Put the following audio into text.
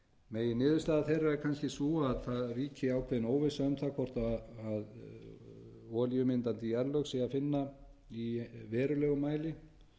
finna meginniðurstaða þeirra er kannski sú að það ríki ákveðin óvissa um það hvort olíumyndandi jarðlög sé að finna í verulegum mæli